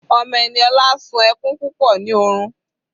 Ọmọ Eniola sún ẹkún púpọ̀ ní òrun.